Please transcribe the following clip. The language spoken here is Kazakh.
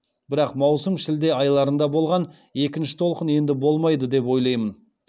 бірақ маусым шілде айларында болған екінші толқын енді болмайды деп ойлайм